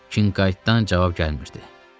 Qinkaytdan cavab gəlmirdi.